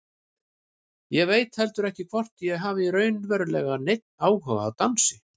Ég veit heldur ekki hvort ég hafði raunverulega neinn áhuga á dansi.